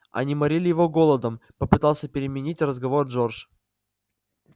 они морили его голодом попытался переменить разговор джордж